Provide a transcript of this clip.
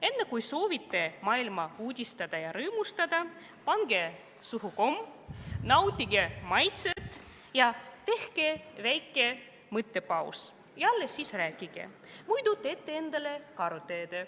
Enne kui soovite maailma uudistada ja rõõmustada, pange komm suhu, nautige maitset, tehke väike mõttepaus ja alles siis rääkige, muidu teete endale karuteene.